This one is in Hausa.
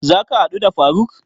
Za ka haɗu da faruk?